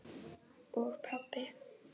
og pabbi.